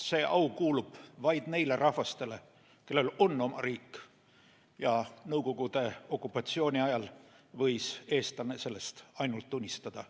See au kuulub vaid neile rahvastele, kellel on oma riik, ja Nõukogude okupatsiooni ajal võis eestlane sellest ainult unistada.